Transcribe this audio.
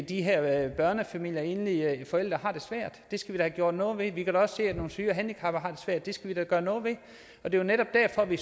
de her børnefamilier med enlige forældre har det svært det skal vi da have gjort noget ved vi kan også se at nogle syge og handicappede svært det skal vi da gøre noget ved det er netop derfor vi